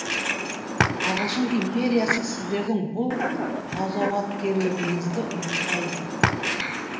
ағылшын империясы сіздердің бұл ғазауаткерлігіңізді ұмытпайды